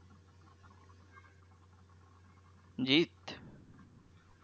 Jeet